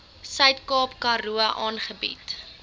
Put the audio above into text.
suidkaap karoo aangebied